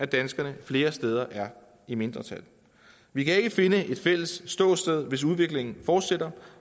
danskerne flere steder er i mindretal vi kan ikke finde et fælles ståsted hvis udviklingen fortsætter